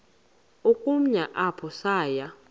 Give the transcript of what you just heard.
ukumka apho saya